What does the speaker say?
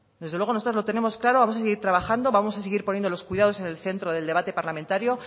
desde luego nosotras lo tenemos claro vamos a seguir trabajando vamos a seguir poniendo los cuidados en el centro del debate parlamentario